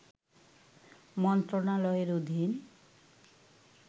মন্ত্রণালয়ের অধীন